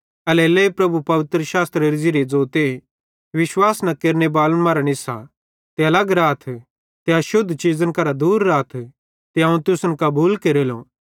एल्हेरेलेइ प्रभु पवित्रशास्त्रेरे ज़िरीये ज़ोते विश्वास न केरनेबालन मरां निस्सा ते अलग राथ ते अशुद्ध चीज़न करां दूर राथ ते अवं तुसन कबूल केरेलो